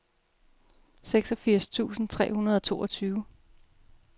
seksogfirs tusind tre hundrede og toogtyve